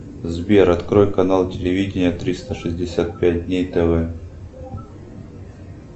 сбер открой канал телевидения триста шестьдесят пять дней тв